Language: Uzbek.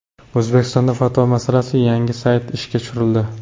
O‘zbekistonda fatvo masalasida yangi sayt ishga tushirildi.